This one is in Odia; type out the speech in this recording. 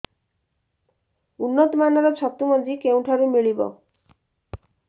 ଉନ୍ନତ ମାନର ଛତୁ ମଞ୍ଜି କେଉଁ ଠାରୁ ମିଳିବ